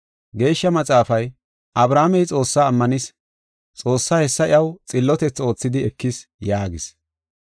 Geeshsha Maxaafay, “Abrahaamey Xoossaa ammanis; Xoossay hessa iyaw xillotethi oothidi ekis” yaagees.